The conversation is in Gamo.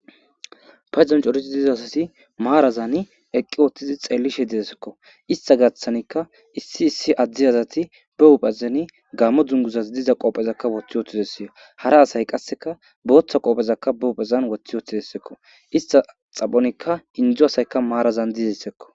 Payzod coridi diza asathi maarazani eqqi wooththidi xeellishe didesekko; istha gathanikka issi issi adde asathi be huuphezani gammo dunguzas diza qoophezakka woththi wooththides; hara asay qasseka booththa qoophezakka be huphezan wothi wooththidessekko istha xaphonikka inddo asaykka maarazan dizeeskko.